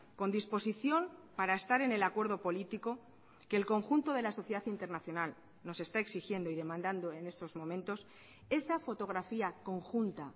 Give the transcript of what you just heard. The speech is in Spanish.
con disposición para estar en el acuerdo político que el conjunto de la sociedad internacional nos está exigiendo y demandando en estos momentos esa fotografía conjunta